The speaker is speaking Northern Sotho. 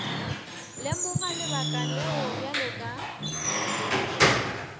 lemoga lebaka leo bjale ka